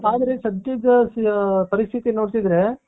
ಆದರೆ ಸದ್ಯದ ಪರಿಸ್ಥಿತಿ ನೋಡ್ತಿದ್ರೆ..